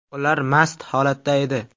Ular mast holatda edi.